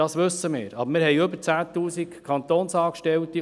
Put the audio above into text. das wissen wir, aber wir haben über 10 000 Kantonsangestellte.